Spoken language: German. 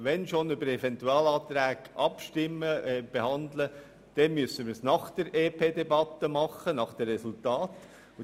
Wenn schon Eventualanträge behandelt werden, dann müssten wir das nach der Debatte des EP tun, wenn wir dessen Resultate haben.